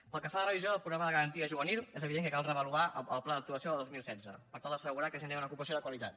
pel que fa a la revisió del programa de garantia juvenil és evident que cal reavaluar el pla d’actuació del dos mil setze per tal d’assegurar que genera una ocupació de qualitat